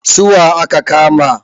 Su wa aka kama?